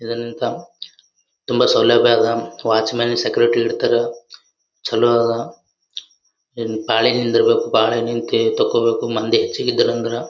ಇದರಲಿಂತ ತುಂಬ ಸೌಲಭ್ಯ ಅದ ವಾಚುಮನ್ ಸೆಕ್ರೆಟರಿ ಇಡ್ತಾರ ಚಲೋ ಅದ ಪಾಳಿ ನಿಂದರ್ಬೇಕು ಪಾಳಿ ನಿಂತ ತಕೋಬೇಕು ಮಂದಿ ಹೆಚಿಗ ಇದ್ದಿರ ಅಂದರ .